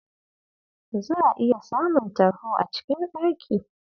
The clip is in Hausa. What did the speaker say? Za'a iya samun tarho a cikin ɗaki.